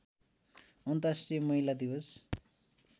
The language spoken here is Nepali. अन्तर्राष्ट्रिय महिला दिवस